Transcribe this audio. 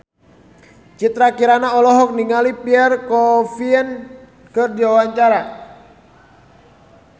Citra Kirana olohok ningali Pierre Coffin keur diwawancara